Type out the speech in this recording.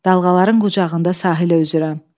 Dalğaların qucağında sahilə üzürəm.